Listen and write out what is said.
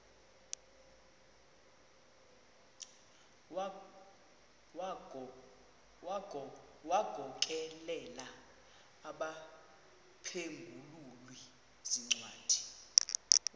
wagokelela abaphengululi zincwadi